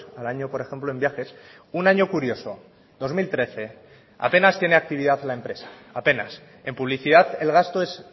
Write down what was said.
al año por ejemplo en viajes un año curioso dos mil trece apenas tiene actividad la empresa apenas en publicidad el gasto es